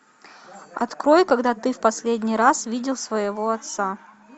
открой когда ты в последний раз видел своего отца